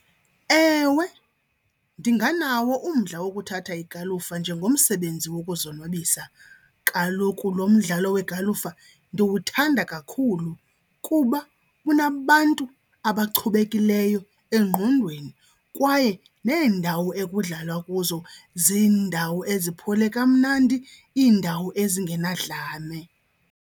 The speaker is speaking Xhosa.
Ewe, ndinganawo umdla wokuthatha igalufa njengomsebenzi wokuzonwabisa. Kaloku lo mdlalo wegalufa ndiwuthanda kakhulu kuba unabantu abachubekileyo engqondweni kwaye neendawo ekudlalwa kuzo ziindawo eziphole kamnandi, iindawo ezingenadlame.